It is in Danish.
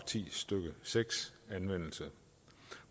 ti stykke seks anvendelse